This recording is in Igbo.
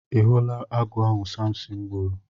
Ị hụla agụ ahụ Samsịn gburu?